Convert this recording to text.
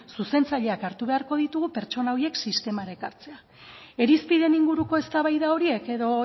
zuzentzaileak hartu beharko ditugu pertsona horiek sistemara ekartzeko irizpideen inguruko eztabaida horiek edo